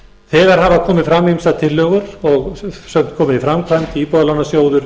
þegar hafa komið fram ýmsar tillögur og sumar komin í framkvæmd íbúðarlánasjóður